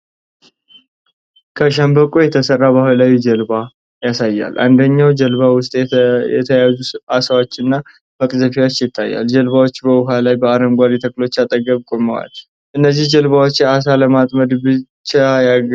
ከሸምበቆ የተሰራ ባህላዊ ጀልባ (ታናጓ) ያሳያል። አንደኛው ጀልባ ውስጥ የተያዙ አሳዎችና መቅዘፊያ ይታያል። ጀልባዎቹ በውሃው ላይ በአረንጓዴ ተክሎች አጠገብ ቆመዋል። እነዚህ ጀልባዎች አሳ ለማጥመድ ብቻ ያገለግላሉ?